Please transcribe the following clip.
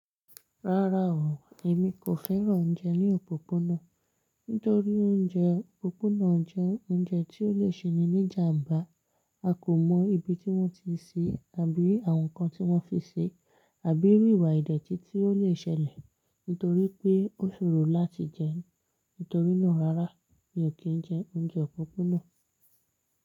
Rárá o, èmi kò fẹ́ràn oúnjẹ ní òpópónà, nítorí oúnjẹ òpópónà jẹ́ oúnjẹ tí ó lè ṣe ni ní ìjàmbá. A kò mọ̀ ibi tí wọ́n ti se, àbí àwọn nǹkan tí wọ́n fi ṣe, àbí irú ìwà ìdẹ́tí tí ó lè ṣẹlẹ̀ nítorí pé ó ṣòro láti jẹ ẹ́. Nítorínà rárá mi ò kí jẹ oúnjẹ òpópónà.